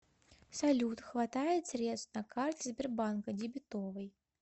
салют хватает средств на карте сбербанка дебетовой